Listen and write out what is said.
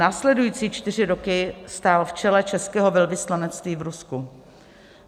Následující čtyři roky stál v čele českého velvyslanectví v Rusku.